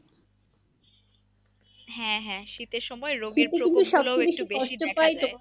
হ্যাঁ হ্যাঁ শীতের সময়